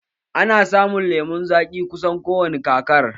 Ana samun lemun zaƙi kusan ko wani kakar